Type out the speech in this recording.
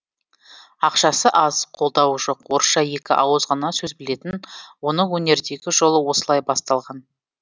ақшасы аз қолдауы жоқ орысша екі ауыз ғана сөз білетін оның өнердегі жолы осылай басталған